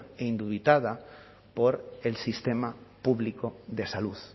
e indubitada por el sistema público de salud